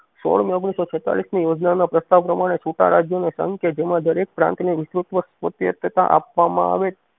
સોળ મેં ઓગણીસો છેતાલીસ ની યોજના ના પ્રસ્તાવ પ્રમાણે છુટા રાજ્યોને સંગ કે જેમાં દરેક પ્રાંત ને વિશ્વત્મક પ્રત્યેસથતા આપવા માં આવે.